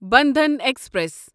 Bandhan express